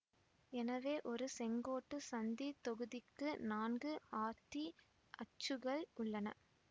எனவே ஒரு செங்கோட்டுச்சந்தித் தொகுதிக்கு நான்கு ஆர்த்திக் அச்சுகள் உள்ளன